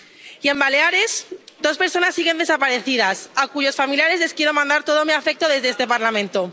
Y en Baleares, dos personas siguen desaparecidas, a cuyos familiares les quiero mandar todo mi afecto desde este Parlamento.